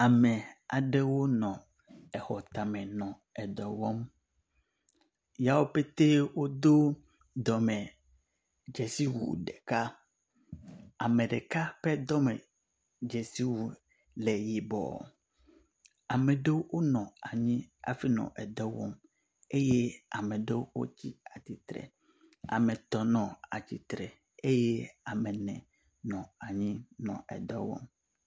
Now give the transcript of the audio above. Ame aɖewo nɔ exɔ tame nɔ dɔwɔm, ya wopete wodo dzesiwu ɖeka ame ɖeka ƒe dɔmewu ƒe dzesi le yibɔ, ame ɖewo nɔ anyi hafi le dɔwɔm, eye ame ɖewo tsitre eye ame etɔ̃ le atsitre eye ame ne nɔ anyi nɔ dɔ wɔm